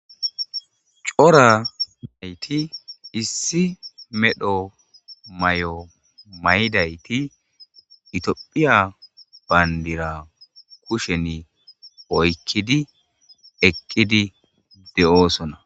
Cora nayti issi medhomay'o may'dayti itiophiya bayndira kushen oykkidi ekkidi de'oosona.